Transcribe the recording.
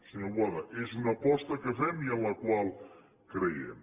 senyor boada és una aposta que fem i en la qual creiem